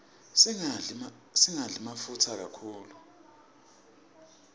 singadli mafutsa kakhulu